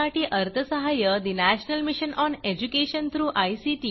यासाठी अर्थसहाय्यनॅशनल mission on education through I